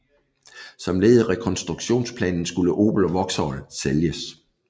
Som led i rekonstruktionsplanen skulle Opel og Vauxhall sælges